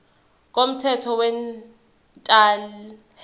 komthetho wemental health